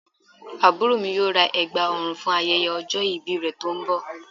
Àbúrò mi yóò ra ẹ̀gbà ọrùn fún ayẹyẹ ọjọ́ ìbí rẹ̀ tó ń bọ̀